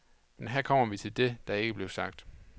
Men her kommer vi til det, der ikke er blevet sagt.